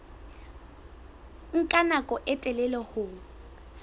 nka nako e telele ho